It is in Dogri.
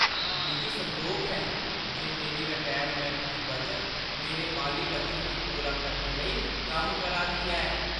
मिगी संदोख ऐ जे मेरी रटैरमैंट दी बचत मेरे माली लक्षें गी पूरा करने लेई कम्म करा दी ऐ।